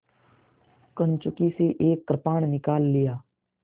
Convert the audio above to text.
कंचुकी से एक कृपाण निकाल लिया